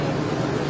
İki yüz üç min.